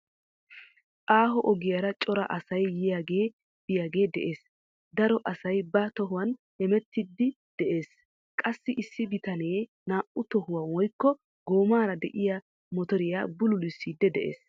Aaho ogiyaara cora asay yiyaagee biyaagee de'ees. Daro asay ba tohuwaan hemettiidi de'ees. Qassi issi bitanee naa"u tohuwaa woykko goommaara de'iyaa motoriyaa bululiisiidi de'ees.